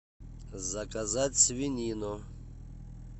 заказать свинину